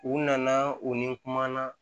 U nana u ni kuma na